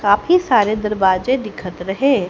काफी सारे दरवाजे दिखत रहे।